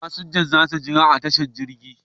Fasinjojin za su jira a tashar jirgin.